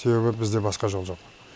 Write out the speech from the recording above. себебі бізде басқа жол жоқ